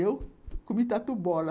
Eu comi tatu bola.